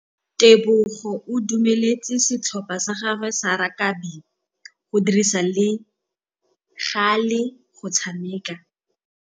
Tebogô o dumeletse setlhopha sa gagwe sa rakabi go dirisa le galê go tshameka.